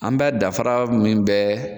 An bɛ dafara min bɛ